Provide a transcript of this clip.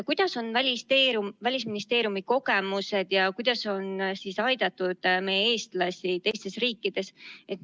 Millised on Välisministeeriumi kogemused, kuidas on aidatud eestlasi teistes riikides?